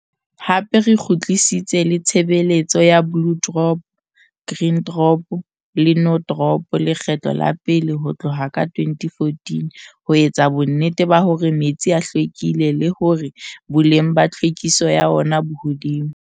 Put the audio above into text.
Hape re kgutlisitse le tshebeletso ya Blue Drop, Green Drop le No Drop lekgetlo la pele ho tlohka 2014 ho etsa bonnete ba hore metsi a hlwekile le hore boleng ba tlhwekiso ya ona bo hodimo.